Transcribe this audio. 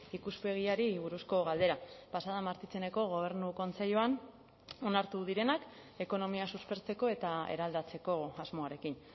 ikuspegiari buruzko galdera pasa den martitzeneko gobernu kontseiluan onartu direnak ekonomia suspertzeko eta eraldatzeko asmoarekin